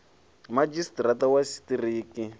madzhisi ṱira ṱa wa tshiṱiriki